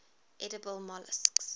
edible molluscs